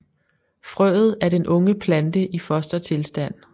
Frøet er den unge plante i fostertilstand